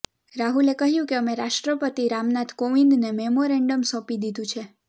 રાહુલે કહ્યુ કે અમે રાષ્ટ્રપતિ રામનાથ કોવિંદને મેમોરેન્ડમ સોંપી દીધુ છે